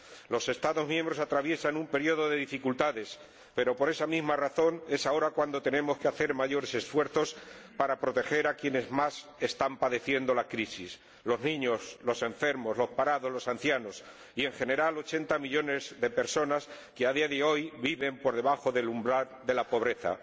Los Estados miembros atraviesan un período de dificultades pero, por esa misma razón, es ahora cuando tenemos que hacer mayores esfuerzos para proteger a quienes más están padeciendo la crisis los niños, los enfermos, los parados, los ancianos y, en general, ochenta millones de personas que actualmente viven por debajo del umbral de la pobreza.